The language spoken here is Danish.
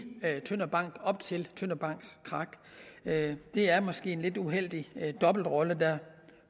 tønder bank op til tønder banks krak det er måske en lidt uheldig dobbeltrolle der